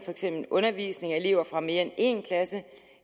undervisning af elever fra mere end en klasse